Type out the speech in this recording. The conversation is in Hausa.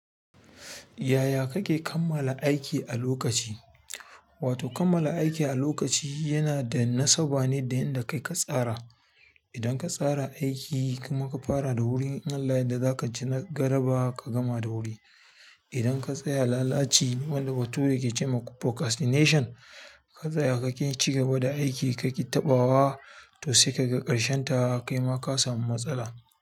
Yaya kake kammala aiki a lokaci? Wato kammala aiki a lokaci yanada nasaba ne da yanda kai ka tsara idan ka tsara aiki kuma ka fara da wuri, in Allah da za ka ci na galaba ka gama da wuri. Idan ka tsaya lalaci wanda bature yake cema procastination ka tsaya, ka ƙi ci gaba da aiki, ka ƙi taɓawa to sai ka ga ƙarshen ta kaima ka samu matsala.